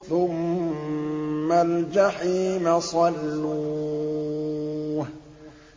ثُمَّ الْجَحِيمَ صَلُّوهُ